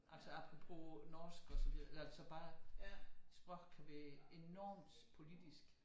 Altså apropos norsk og så videre altså bare sprog kan blive enormt politisk